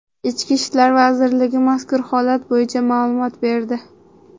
Ichki ishlar vazirligi mazkur holat bo‘yicha ma’lumot berdi .